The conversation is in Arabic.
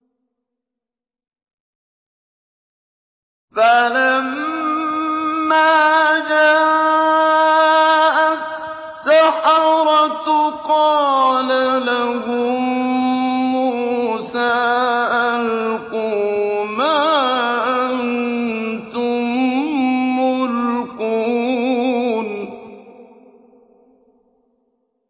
فَلَمَّا جَاءَ السَّحَرَةُ قَالَ لَهُم مُّوسَىٰ أَلْقُوا مَا أَنتُم مُّلْقُونَ